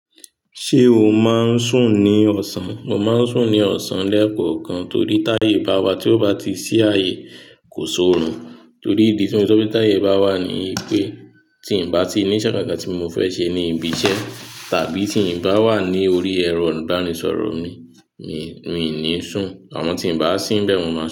Ṣé o máa ń sùn ní ọ̀sán? Mo máa ń sùn ní ọ̀sán lẹ́ẹ̀kọ̀kan torí táyè bá wá tí ó bá ti sí ààyè kò sọ̀run torí ìdí tí mo ti sọ pé táyè bá wá ni pé tí ń bá ti ní iṣẹ́ kankan tí mo fẹ́ ṣe ní ibi iṣẹ́ tàbí tí ń bá wà ní orí ẹ̀rọ ìbánisọ̀rọ̀ mi, mi, mi ò ní sùn àmọ́ tí ń bá síbẹ̀, mo máa sùn.